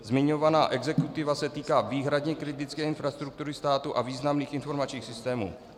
Zmiňovaná exekutiva se týká výhradně kritické infrastruktury státu a významných informačních systémů.